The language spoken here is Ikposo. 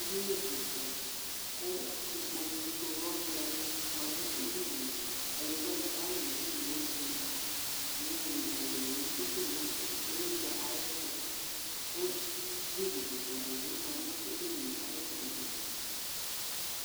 Edini kika ku ikpoku fuyɔsua ni dʊ edɩnie Kadegba ni kalʊ nedinie zia Iyowuizɛlɛ dini atsitu niylɩtsɛ ayɛtʊ, ku friji kika dibi ma nu edinie